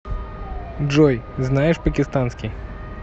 джой знаешь пакистанский